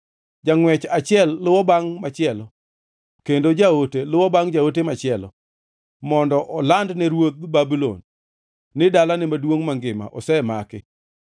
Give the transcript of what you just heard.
Jangʼwech achiel luwo bangʼ machielo kendo jaote luwo bangʼ jaote machielo, mondo olandne ruodh Babulon ni dalane maduongʼ mangima osemaki,